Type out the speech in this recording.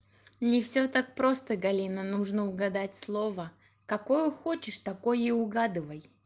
не всё так просто галина нужно угадать слово какое хочешь такое и угадывай